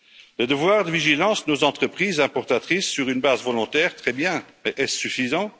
Le devoir de vigilance de nos entreprises importatrices sur une base volontaire, très bien, mais est ce suffisant?